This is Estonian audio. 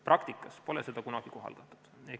Praktikas pole seda kunagi kohaldatud.